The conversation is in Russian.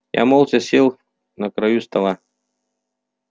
я молча сел на краю стола